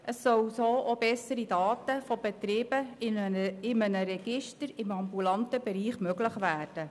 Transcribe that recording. So sollen auch bessere Daten von Betrieben in einem Register im ambulanten Bereich möglich werden.